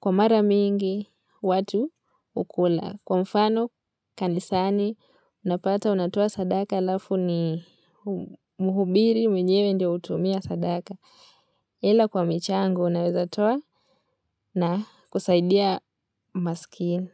kwa mara mingi watu hukula kwa mfano kanisani unapata unatoa sadaka alafu ni muhubiri mwenyewe ndio hutumia sadaka. Hile kwa michango naweza toa na kusaidia maskini.